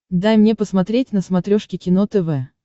дай мне посмотреть на смотрешке кино тв